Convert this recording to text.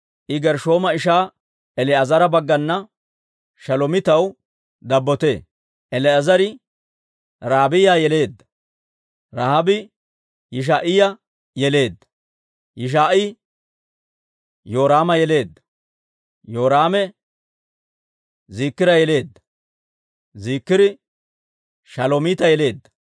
I Gershshooma ishaa El"eezera baggana Shalomiitaw dabbotee. El"eezeri Rahaabiyaa yeleedda; Rahaabii Yishaa'iyaa yeleedda; Yishaa'ii Yoraama yeleedda; Yoraame Ziikira yeleedda; Ziikiri Shalomiita yeleedda.